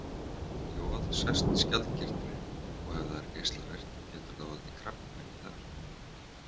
Joð sest í skjaldkirtilinn og ef það er geislavirkt getur það valdið krabbameini þar.